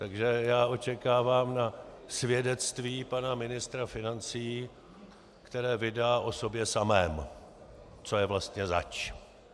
Takže já čekám na svědectví pana ministra financí, které vydá o sobě samém, co je vlastně zač.